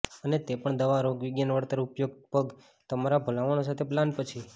અને તે પણ દવા રોગવિજ્ઞાન વળતર ઉપયોગ પર તમામ ભલામણો સાથે પાલન પછી